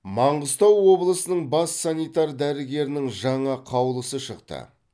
маңғыстау облысының бас санитар дәрігерінің жаңа қаулысы шықты